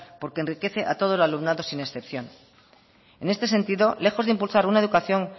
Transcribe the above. porque enriquece a todo el alumnado sin excepción en este sentido lejos de impulsar una educación